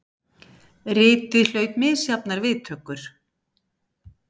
Ritið hlaut misjafnar viðtökur.